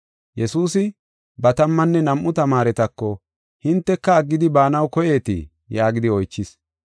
Yesuusi ba tammanne nam7u tamaaretako, “Hinteka aggidi baanaw koyeetii?” yaagidi oychis.